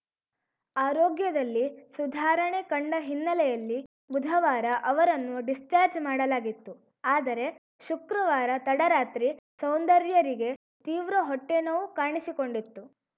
ಆರೋಗ್ಯದಲ್ಲಿ ಸುಧಾರಣೆ ಕಂಡ ಹಿನ್ನೆಲೆಯಲ್ಲಿ ಬುಧವಾರ ಅವರನ್ನು ಡಿಸ್ಚಾರ್ಜ್ ಮಾಡಲಾಗಿತ್ತು ಆದರೆ ಶುಕ್ರವಾರ ತಡರಾತ್ರಿ ಸೌಂದರ್ಯರಿಗೆ ತೀವ್ರ ಹೊಟ್ಟೆನೋವು ಕಾಣಿಸಿಕೊಂಡಿತ್ತು